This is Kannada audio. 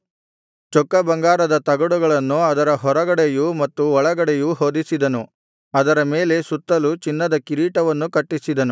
ಚೊಕ್ಕ ಬಂಗಾರದ ತಗಡುಗಳನ್ನು ಅದರ ಹೊರಗಡೆಯೂ ಮತ್ತು ಒಳಗಡೆಯೂ ಹೊದಿಸಿದನು ಅದರ ಮೇಲೆ ಸುತ್ತಲು ಚಿನ್ನದ ಕಿರೀಟವನ್ನು ಕಟ್ಟಿಸಿದನು